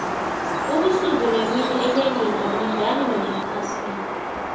ubusuku nemini enyangeni abulingani nobephasini